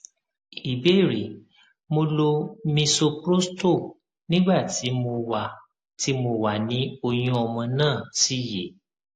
ìbéèrè mo lo misoprostol nígbà tí mo wà tí mo wà ni oyun ọmọ náà sì yè